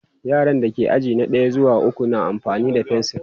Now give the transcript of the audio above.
yaran da ke aji na ɗaya zuwa ukwu na amfani da fensir